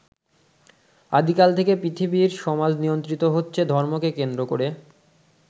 আদিকাল থেকে পৃথিবীর সমাজ নিয়ন্ত্রিত হচেছ ধর্মকে কেন্দ্র করে।